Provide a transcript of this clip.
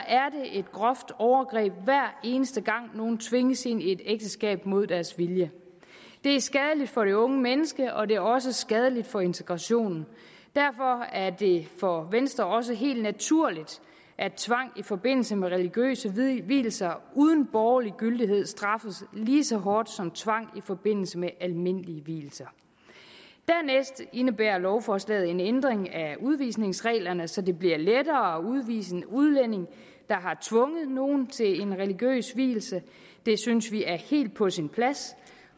et groft overgreb hver eneste gang nogen tvinges ind i et ægteskab mod deres vilje det er skadeligt for det unge menneske og det er også skadeligt for integrationen derfor er det for venstre også helt naturligt at tvang i forbindelse med religiøse vielser uden borgerlig gyldighed straffes lige så hårdt som tvang i forbindelse med almindelige vielser dernæst indebærer lovforslaget en ændring af udvisningsreglerne så det bliver lettere at udvise en udlænding der har tvunget nogen til en religiøs vielse det synes vi er helt på sin plads